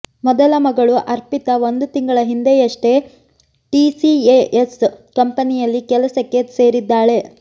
ಮೊದಲ ಮಗಳು ಅರ್ಪಿತಾ ಒಂದು ತಿಂಗಳ ಹಿಂದೆಯಷ್ಟೇ ಟಿಸಿಎಎಸ್ ಕಂಪನಿಯಲ್ಲಿ ಕೆಲಸಕ್ಕೆ ಸೇರಿದ್ದಾಳೆ